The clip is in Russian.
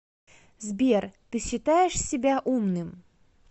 сбер ты считаешь себя умным